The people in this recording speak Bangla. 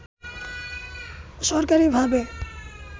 সরকারী ভাবে